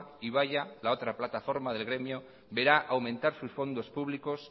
ibaia la otra plataforma del gremio verá aumentar sus fondos públicos